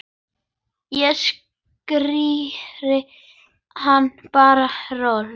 Ég skíri hann bara Rolu.